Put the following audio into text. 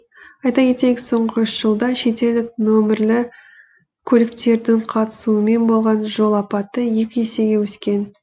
айта кетейік соңғы үш жылда шетелдік нөмірлі көліктердің қатысуымен болған жол апаты екі есеге өскен